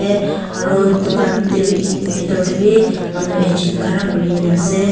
aro dukan tae bi bitor tae bi manu ekjun khara kurina ase.